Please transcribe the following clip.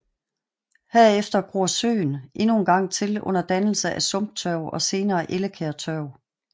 Herefter gror søen endnu en gang til under dannelse af sumptørv og senere ellekærtørv